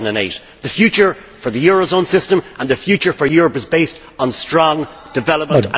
2008. The future for the eurozone system and the future for Europe is based on strong development and growth.